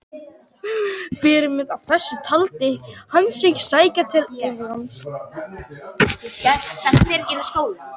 Fyrirmynd að þessu taldi hann sig sækja til Englands.